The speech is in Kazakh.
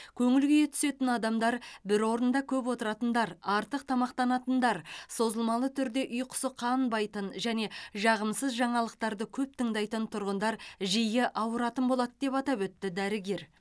көңіл күйі түсетін адамдар бір орында көп отыратындар артық тамақтанатындар созылмалы түрде ұйқысы қанбайтын және жағымсыз жаңалықтарды көп тыңдайтын тұрғындар жиі ауыратын болады деп атап өтті дәрігер